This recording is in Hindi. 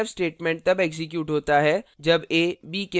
यह printf statement तब एक्जीक्यूट होता है जब a b के बराबर हो